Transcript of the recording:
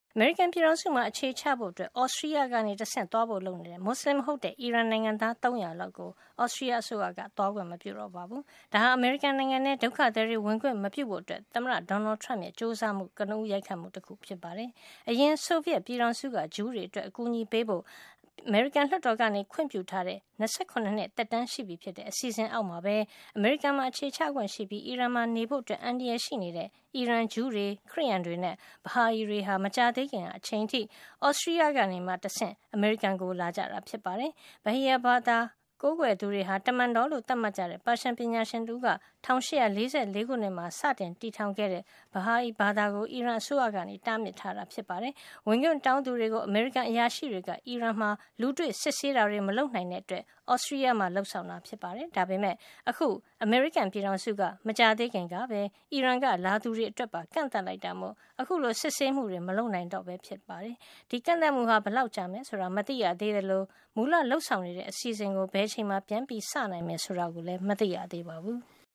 အမေရိကန် ပြည်ထောင်စုမှာ အခြေချဖို့ Austria ကနေ တဆင့် သွားနိုင်ဖို့ လုပ်နေတဲ့ မူစလင်မဟုတ်တဲ့ အီရန်နိုင်ငံသား ၃၀၀ လောက်ကို Austria က သွားခွင့်မပြုတော့ပါဘူး။ ဒါဟာ အမေရိကန်နိုင်ငံထဲ ဒုက္ခသည်တွေဝင်ခွင့် မပြုဖို့ သမ္မတ Donald Trump ရဲ့ ကျိုးစားမှုအတွက် ကနဦး ရိုက်ခတ်မှုတခု ဖြစ်ပါတယ်။ အရင် ဆိုဗီယက်ပြည်ထောင်စုက ဂျူးတွေအတွက် အကူအညီပေးဖို့ အမေရိကန်လွှတ်တော်က ခွင့်ပြုထားတဲ့ ၂၇ နှစ် သက်တမ်းရှိပြီဖြစ်တဲ့ အစီအစဉ် အောက်မှာပဲ အမေရိကန်မှာ အခြေချခွင့်ရှိပြီး အီရန်မှာနေဖို့ အန္တရာယ်ရှိတဲ့ အီရန်ဂျူးတွေ၊ ခရစ်ယန်တွေနဲ့ Bahai တွေဟာ မကြာသေးခင် အချိန်အထိ Austria ကနေတဆင့် အမေရိကန်ကိုသွားကြတာ ဖြစ်ပါတယ်။ Bahai ဘာသာ ကိုးကွယ်သူတွေက တမန်တော်လို့ သတ်မှတ်ကြတဲ့ ပါရှန်ပညာရှင်တဦးက ၁၈၄၄ ခုမှာ စတင်တည်ထောင်တဲ့ Bahai ဘာသာကို အီရန်အစိုးရက တားမြစ် ထားတာပါ။ ဝင်ခွင့်တောင်းသူတွေကို အမေရိကန် အရာရှိတွေက အီရန်မှာ လူတွေ့စစ်ဆေးတာတွေ မလုပ်နိုင်တဲ့အတွက် Austria မှာ လုပ်ဆောင်တာ ဖြစ်ပါတယ်။ ဒါပေမယ့် အခု အမေရိကန် ပြည်ထောင်စုက မကြာသေးခင်ကပဲ အီရန်က လာတဲ့ သူတွေအတွက်ပါ ကန့်သတ်လိုက်တာမို့ အခုလို စစ်ဆေးမှုတွေ မလုပ်နိုင်တော့တာ ဖြစ်ပါတယ်။ ဒီလိုကန့်သတ်မှုဟာ ဘယ်လောက်ကြာမယ် ဆိုတာ မသိရသေး သလို မူလလုပ်ဆောင်နေတဲ့ အစီအစဉ်ကို ဘယ်အချိန်မှာ ပြန်စနိုင်မယ် ဆိုတာလည်း မသိရသေးပါဘူး။